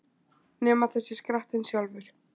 Nema það sé skrattinn sjálfur!